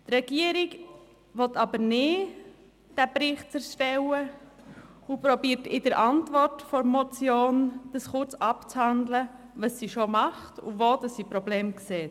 Die Regierung will aber diesen Bericht nicht erstellen und versucht, in der Antwort zur Motion kurz abzuhandeln, was sie bereits tut und wo sie Probleme sieht.